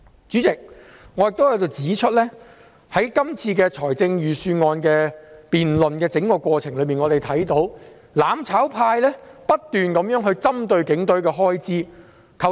主席，我亦在這裏指出，在這份預算案的整個辯論過程中，我們看到"攬炒派"不斷針對警隊的開支。